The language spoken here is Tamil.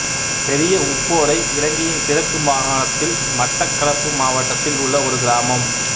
பெரிய உப்போடை இலங்கையின் கிழக்கு மாகாணத்தில் மட்டக்களப்பு மாவட்டத்தில் உள்ள ஒரு கிராமம்